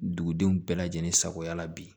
Dugudenw bɛɛ lajɛlen sagoya la bi